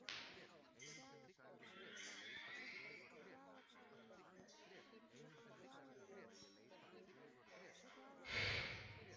En á meðan þig dreymir lengist minn tími.